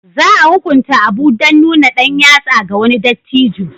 Za a hukunta Abu dan nuna ɗan yatsa ga wani dattijo